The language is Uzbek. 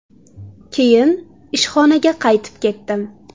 Keyin ishxonaga qaytib ketdim.